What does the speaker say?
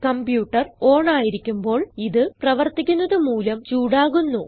computer on ആയിരിക്കുമ്പോൾ ഇത് പ്രവർത്തിക്കുന്നത് മൂലം ചൂടാകുന്നു